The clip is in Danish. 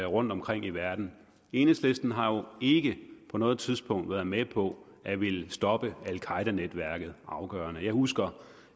rundtomkring i verden enhedslisten har jo ikke på noget tidspunkt været med på at ville stoppe al qaeda netværket afgørende jeg husker